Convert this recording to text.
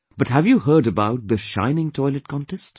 But have you heard about the 'Shining Toilet' contest